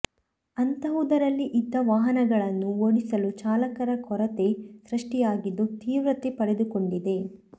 ಅಂತಹುದರಲ್ಲಿ ಇದ್ದ ವಾಹನಗಳನ್ನು ಓಡಿಸಲೂ ಚಾಲಕರ ಕೊರತೆ ಸೃಷ್ಟಿಯಾಗಿದ್ದು ತೀವ್ರತೆ ಪಡೆದುಕೊಂಡಿದೆ